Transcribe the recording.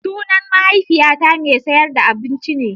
Sunan mahaifiyata mai sayar da abinci ne.